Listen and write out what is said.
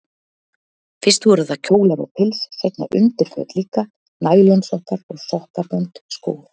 Fyrst voru það kjólar og pils, seinna undirföt líka, nælonsokkar og sokkabönd, skór.